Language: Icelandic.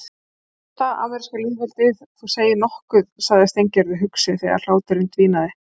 Fyrsta ameríska lýðveldið, þú segir nokkuð sagði Steingerður hugsi þegar hláturinn dvínaði.